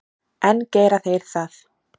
En gera þeir það?